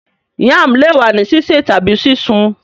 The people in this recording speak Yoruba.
Yam le wa ni sise tabi sisun